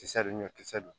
Kisɛ ni ɲɔ kisɛ dun